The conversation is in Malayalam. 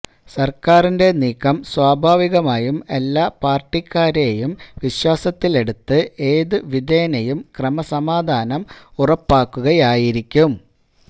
സർക്കാരിന്റെ നീക്കം സ്വാഭാവികമായും എല്ലാ പാർട്ടിക്കാരെയും വിശ്വാസത്തിലെടുത്ത് ഏതു വിധേനയും ക്രമസമാധാനം ഉറപ്പാക്കുകയായിരിക്കും